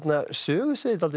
sögusviðið dálítið